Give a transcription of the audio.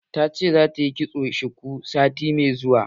Ta ce za ta yi kitson shuku sati mai zuwa.